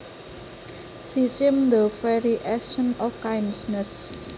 She seems the very essence of kindness